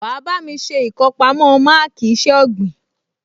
Wà á bá mi ṣe ìkọpamọ́ máàkì iṣẹ́ ọ̀gbìn